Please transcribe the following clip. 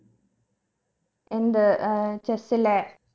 എന്ത് ഏർ chess ലെ